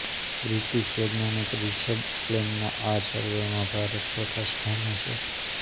British વૈજ્ઞાનિક Richard લેનના આ સર્વેમાં ભારત ચોથા સ્થાને છે